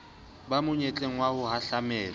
ba monyetleng wa ho hahlamelwa